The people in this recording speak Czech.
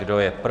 Kdo je pro?